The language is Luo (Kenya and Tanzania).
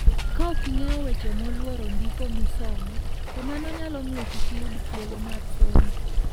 Kaok ing'eyo weche molworo ndiko misomo, to mano nyalo miyo kik iyud thuolo mar somo.